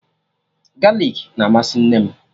Galik na amasị nne m